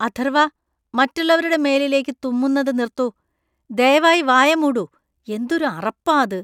അഥർവ്വ, മറ്റുള്ളവരുടെ മേലിലേക്കു തുമ്മുന്നത് നിർത്തു. ദയവായി വായ മൂടു. എന്തൊരു അറപ്പാ അത് .